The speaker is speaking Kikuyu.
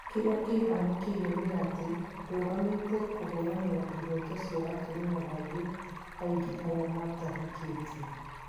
Kiriakihanikiire ni ati ndũgamite kũhũranira ihoto cia atumia angi aingi aria matahikitio.